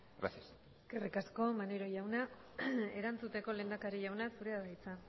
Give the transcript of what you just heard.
gracias eskerrik asko maneiro jauna erantzuteko lehendakari jauna zurea da hitza